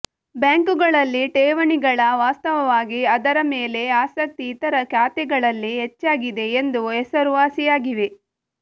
ಬ್ಯಾಂಕುಗಳಲ್ಲಿ ಠೇವಣಿಗಳ ವಾಸ್ತವವಾಗಿ ಅದರ ಮೇಲೆ ಆಸಕ್ತಿ ಇತರಖಾತೆಗಳಲ್ಲಿ ಹೆಚ್ಚಾಗಿದೆ ಎಂದು ಹೆಸರುವಾಸಿಯಾಗಿವೆ